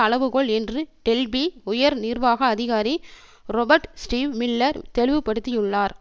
அளவுகோல் என்று டெல்பி உயர் நிர்வாக அதிகாரி ரொபர்ட் ஸ்டீவ் மில்லர் தெளிவுப்படுத்தியுள்ளார்